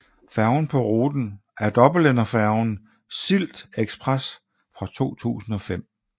Færgen på ruten er dobbeltenderfærgen SyltExpress fra 2005